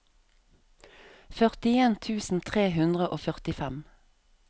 førtien tusen tre hundre og førtifem